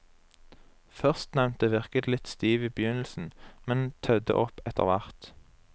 Førstnevnte virket litt stiv i begynnelsen, men tødde opp etterhvert.